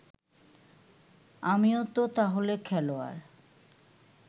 আমিও তো তাহলে খেলোয়াড়